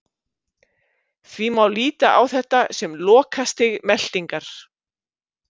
Því má líta á þetta sem lokastig meltingar.